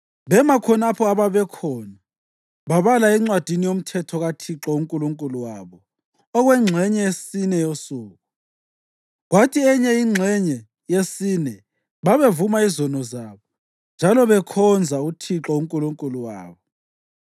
Bema khonapho ababekhona babala eNcwadini yoMthetho kaThixo uNkulunkulu wabo okwengxenye yesine yosuku, kwathi enye ingxenye yesine babevuma izono zabo njalo bekhonza uThixo uNkulunkulu wabo.